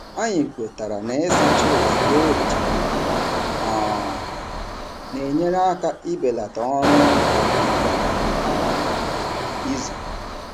Anyị kwetara na ịsacha ozugbo e richara nri um na-enyere aka ibelata ọrụụlọ kwa um izu.